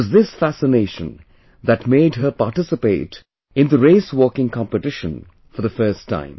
It was this fascination that made her participate in the RaceWalking competition for the first time